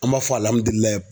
An b'a fɔ